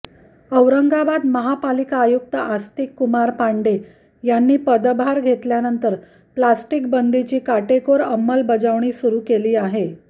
औरंगाबाद महापालिका आयुक्त आस्तिक कुमार पांडेय यांनी पदभार घेतल्यानंतर प्लॅस्टिकबंदीची काटेकोर अंमलबजावणी सुरू केली आहे